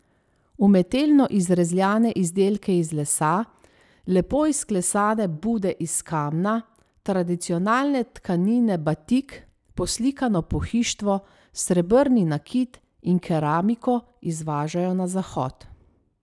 Umetelno izrezljane izdelke iz lesa, lepo izklesane Bude iz kamna, tradicionalne tkanine batik, poslikano pohištvo, srebrni nakit in keramiko izvažajo na Zahod.